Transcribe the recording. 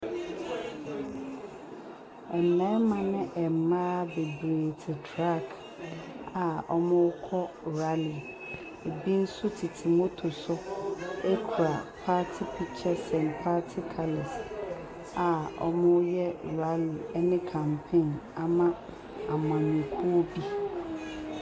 Mmɛma ne mmaa beberee ti trak a ɔmmu kɔ rali. Ebi nso tete moto so ekura paati pikkyɛs ɛnd paati kalɛs a ɔmmu yɛ rali ɛne kampein amma amanyɔkuo bi.